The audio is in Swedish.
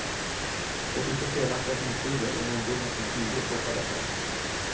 Låt inte felaktiga hotbilder om ungdomar som pigor stoppa detta.